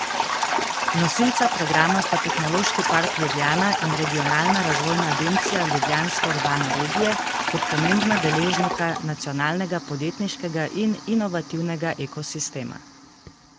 Nosilca programa sta Tehnološki park Ljubljana in Regionalna razvojna agencija Ljubljanske urbane regije, kot pomembna deležnika nacionalnega podjetniškega in inovativnega ekosistema.